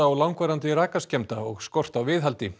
og langvarandi rakaskemmdir og skort á viðhaldi